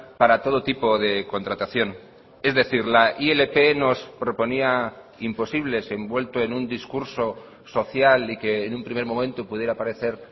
para todo tipo de contratación es decir la ilp nos proponía imposibles envuelto en un discurso social y que en un primer momento pudiera parecer